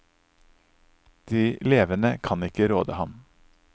De levende kan ikke råde ham.